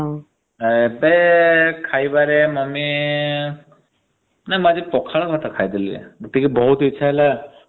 ଏବେ ଖାଇବାରେ ମମ୍ମୀ ନାଇ ମୁ ଆଜି ପଖାଳ ଭାତ ଖାଇଦେଲି ରେ। ଆଜି ଟିକେ ବହୁତ ଇଚ୍ଛା ହେଲା ବହୁତ ଦିନରେ ।